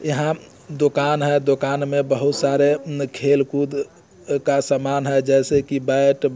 यहाँ दुकान है दुकान में बहुत सारे खेल कूद का सामान है जैसे की बैट --